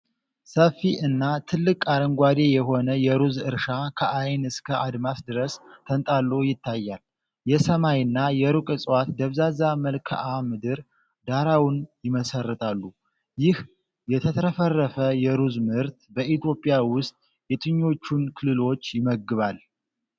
ሰፊ እና ጥልቅ አረንጓዴ የሆነ የሩዝ እርሻ ከዓይን እስከ አድማስ ድረስ ተንጣሎ ይታያል፤ የሰማይና የሩቅ እጽዋት ደብዛዛ መልክዓ ምድር ዳራውን ይመሰርታሉ። ይህ የተትረፈረፈ የሩዝ ምርት በኢትዮጵያ ውስጥ የትኞቹን ክልሎች ይመግባል?